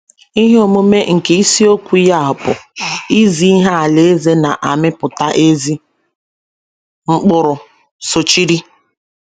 Ihe omume nke isiokwu ya bụ “ Izi Ihe Alaeze Na - amịpụta Ezi Mkpụrụ ” sochiri.